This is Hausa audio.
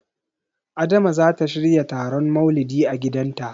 Adama zata shirya taron Maulidi a gidanta.